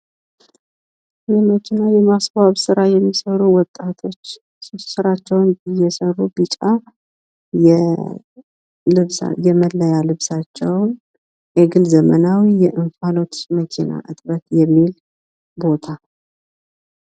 የመኪና የማስዋብ ስራ የሚሰሩ ወጣቶች ስራቸውን እየሰሩ ቢጫ የመለያ ልብሳቸውን ኤግል ዘመናዊ የእፋሎት መኪና እጥበት የሚል ቦታ።